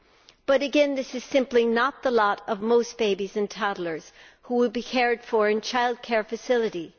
However, this is simply not the lot of most babies and toddlers who would be cared for in childcare facilities.